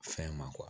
Fɛn ma